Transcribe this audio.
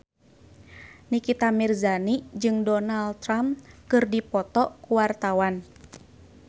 Nikita Mirzani jeung Donald Trump keur dipoto ku wartawan